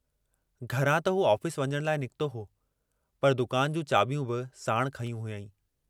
घरां त हू ऑफिस वञण लाइ निकितो हो पर दुकान जूं चाबियूं बि साणु खंयूं हुआईं।